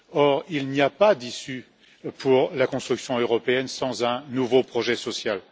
Or, il n'y a pas d'issue pour la construction européenne sans un nouveau projet social.